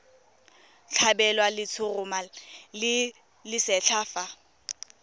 tlhabelwa letshoroma le lesetlha fa